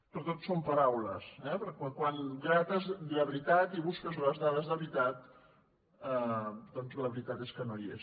però tot són paraules eh perquè quan grates la veritat i busques les dades de veritat doncs la veritat és que no hi és